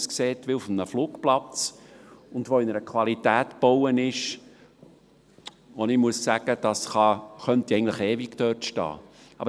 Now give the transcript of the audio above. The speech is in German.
Es sieht aus wie auf einem Flugplatz und ist in einer Qualität gebaut, von der ich sagen muss, dass es eigentlich ewig dort stehen könnte.